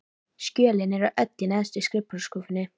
Skjölin eru öll í neðstu skrifborðsskúffunni.